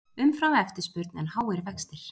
Umframeftirspurn en háir vextir